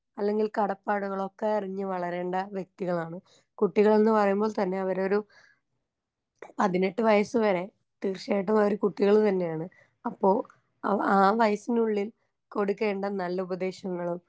അല്ലെങ്കിൽ കടപ്പാടുകളൊക്കെ അറിഞ്ഞ് വളരേണ്ട വ്യക്തികളാണ് കുട്ടികൾന്ന് പറയുമ്പോൾ തന്നെ അവരൊരു പതിനെട്ട് വയസ്സ് വരെ തീർച്ചയായിട്ടും അവര് കുട്ടികള് തന്നെയാണ് അപ്പൊ ആ ആ വയസ്സിനുള്ളിൽ കൊടുക്കേണ്ട നല്ല ഉപദേശങ്ങളും.